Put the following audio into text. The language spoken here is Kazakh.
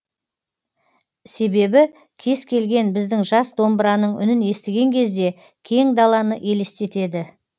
себебі кез келген біздің жас домбыраның үнін естіген кезде кең далалны елестетеді